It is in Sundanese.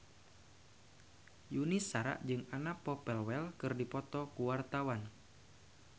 Yuni Shara jeung Anna Popplewell keur dipoto ku wartawan